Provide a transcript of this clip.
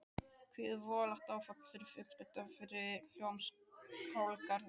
Hvílíkt voðalegt áfall fyrir fjölskylduna við Hljómskálagarðinn.